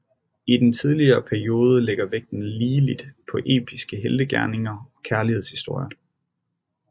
I den tidlige periode ligger vægten ligeligt på episke heltegerninger og kærlighedshistoier